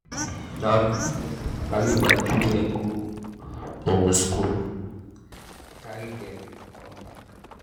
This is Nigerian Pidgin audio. na skool bus dey carry my children go um skool carry um dem com back.